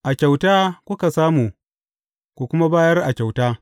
A kyauta kuka samu, ku kuma bayar a kyauta.